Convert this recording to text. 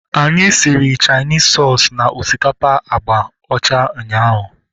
Anyị siri Chainis soosu na osikapa agba ọcha ụnyaahụ